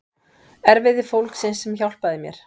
Erfiði fólksins sem hjálpaði mér.